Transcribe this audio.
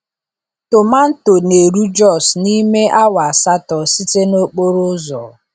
Tomanto na-eru Jos n’ime awa asatọ site n’okporo ụzọ.